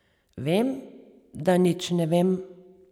Vem, da nič ne vem.